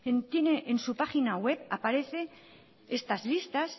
que tiene en su página web aparecen estas listas